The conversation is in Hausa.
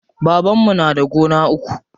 Babanmu na da gona uku.